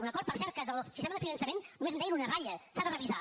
un acord per cert que del sistema de finançament nomes en deien una ratlla s’ha de revisar